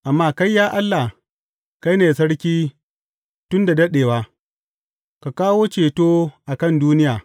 Amma kai, ya Allah, kai ne sarki tun da daɗewa; ka kawo ceto a kan duniya.